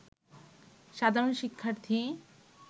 সাধারণ শিক্ষার্থী